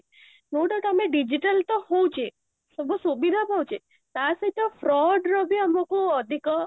କୋଟାକୁ ଆମେ digital ତ ହଉଛେ ସବୁ ସୁବିଧା ପାଉଛେ ତା ସହିତ fraud ର ବି ଆମକୁ ଅଧିକ